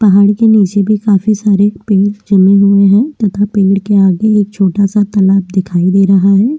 पहाड़ के नीचे भी काफी सारे पेड़ जमीन में है तथा पेड़ के आगे एक छोटा सा तालाब दिखाई दे रहा है।